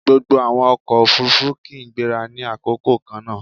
Gbogbo àwọn ọkọ̀-òfurufú kì í gbéra ní àkókò kannáà